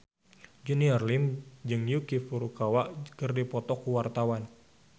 Junior Liem jeung Yuki Furukawa keur dipoto ku wartawan